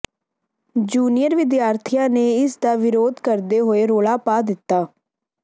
junior ਵਿਦਿਆਰਥੀਆਂ ਨੇ ਇਸ ਦਾ ਵਿਰੋਧ ਕਰਦੇ ਹੋਏ ਰੌਲਾ ਪਾ ਦਿੱਤਾ